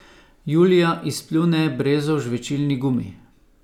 Julija izpljune brezov žvečilni gumi.